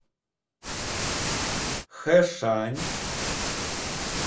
хэшань